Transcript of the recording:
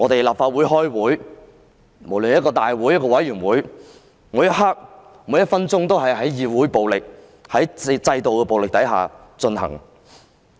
立法會開會，無論是大會或委員會，每一刻、每分鐘也是在議會和制度的暴力下進行。